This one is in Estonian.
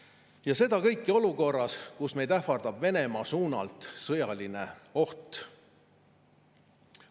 Ja seda kõike olukorras, kus meid ähvardab Venemaa poolt sõjaline oht.